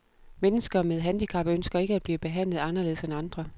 Mennesker med handicap ønsker ikke at blive behandlet anderledes end andre.